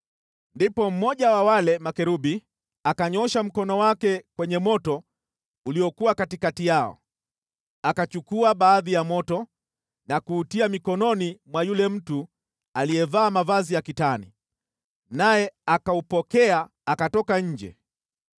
Ndipo mmoja wa wale makerubi akanyoosha mkono wake kwenye moto uliokuwa katikati yao. Akachukua baadhi ya moto na kuutia mikononi mwa yule mtu aliyevaa mavazi ya kitani, naye akaupokea akatoka nje.